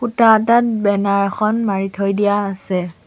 খুঁটা এটাত বেনাৰ এখন মাৰি থৈ দিয়া আছে।